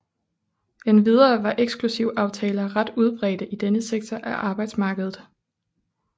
Endvidere var eksklusivaftaler ret udbredte i denne sektor af arbejdsmarkedet